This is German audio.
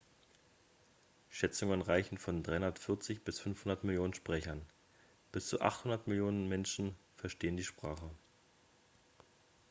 schätzungen reichen von 340 bis 500 millionen sprechern bis zu 800 millionen menschen verstehen die sprache